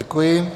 Děkuji.